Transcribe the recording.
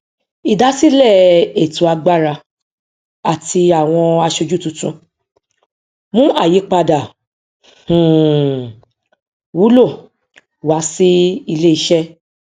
ìdásílẹ ètò agbára àti àwọn aṣojú tuntun mú àyípadà um wúlò wá sí iléiṣẹ